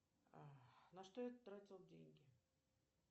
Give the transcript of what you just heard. на что я тратил деньги